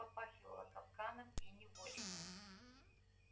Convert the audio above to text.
тут попахивало капканом и неволей